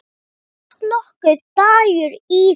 En datt nokkuð Dagur íða?